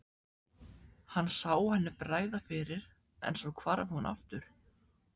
Hann sá henni bregða fyrir en svo hvarf hún aftur.